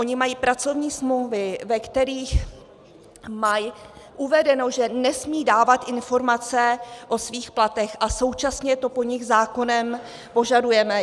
Oni mají pracovní smlouvy, ve kterých mají uvedeno, že nesmí dávat informace o svých platech, a současně to po nich zákonem požadujeme.